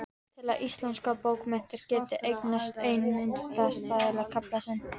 Til að íslenskar bókmenntir geti eignast einn minnisstæðasta kafla sinn.